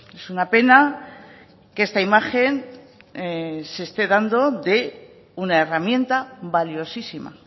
es una pena que esta imagen se esté dando de una herramienta valiosísima